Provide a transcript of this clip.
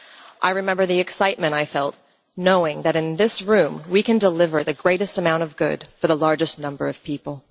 I remember the excitement I felt, knowing that in this room we can deliver the greatest amount of good for the largest number of people.